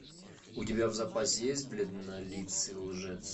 у тебя в запасе есть бледнолицый лжец